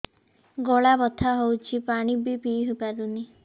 ଗଳା ବଥା ହଉଚି ପାଣି ବି ପିଇ ପାରୁନି